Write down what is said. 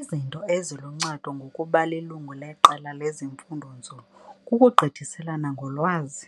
Izinto eziluncedo ngokuba lilungu leqela lofundo-nzulu kukugqithiselana ngolwazi,